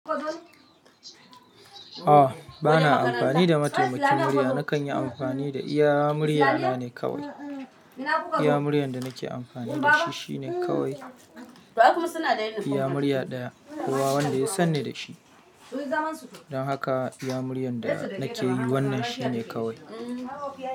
A bana amfani da mataimakin murya, nakan yi amfani da iya murya na ne kawai. Iya muryan da nake amfani da shi shine kawai, iya murya daya, kowa wanda ya san ni da shi. Don haka iya muryan da nake yi wannan shine kawai.